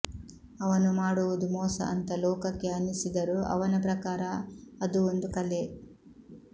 ಅವನು ಮಾಡುವುದು ಮೋಸ ಅಂತ ಲೋಕಕ್ಕೆ ಅನ್ನಿಸಿದರೂ ಅವನ ಪ್ರಕಾರ ಅದು ಒಂದು ಕಲೆ